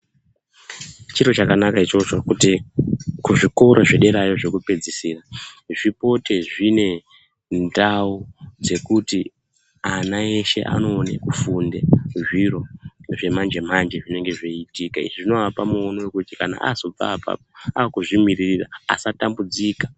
Chiro chakanaka ichocho kuti kuzvikora zvederayo zvekupedzisira zvipote zvine ndau dzekuti ana eshe anoone kufunde zviro zvemanjemanje zvinenge zveiitika. Izvi zvinoapa muono wekuti ana azobva apapo aakuzvimiririra asatambudzika.